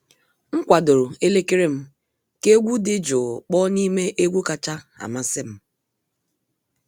M kwadoro elekere m ka egwu dị jụụ kpọọ n'ime egwu kacha amasị m.